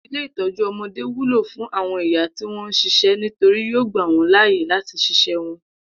Ilé ìtó̩jú o̩mo̩dé wúlò fún àwo̩n ìyá tí wó̩n ń s̩is̩é̩ nítorí yóò gbà wó̩n láàyè láti s̩is̩é̩ wo̩n